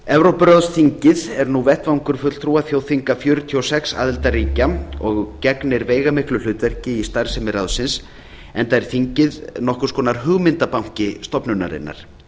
evrópuráðsþingið er nú vettvangur fulltrúa þjóðþinga fjörutíu og sex aðildarríkja og gegnir veigamiklu hlutverki í starfsemi ráðsins enda er þingið nokkurs konar hugmyndabanki stofnunarinnar